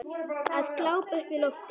Að glápa upp í loftið.